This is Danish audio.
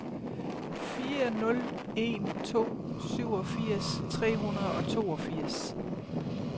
fire nul en to syvogfirs tre hundrede og toogfirs